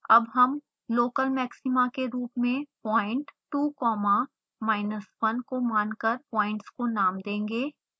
अब हम local maxima के रूप में point2 comma minus 1 को मानकर प्वाइंट्स को नाम देंगे